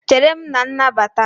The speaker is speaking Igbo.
Chere m na nnabata!